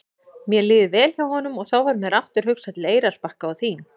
Mér líður vel hjá honum og þá varð mér aftur hugsað til Eyrarbakka og þín.